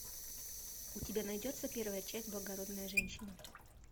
у тебя найдется первая часть благородная женщина